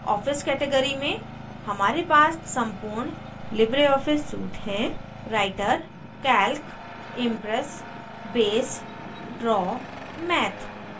office category में हमारे पास सम्पूर्ण libreoffice suite हैं